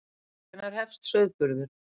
Hvenær hefst sauðburður?